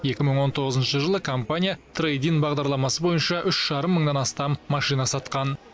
екі мың он тоғызыншы жылы компания трэйд ин бағдарламасы бойынша үш жарым мыңнан астам машина сатқан